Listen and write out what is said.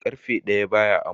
Ƙarfe ɗaya ba ya amo.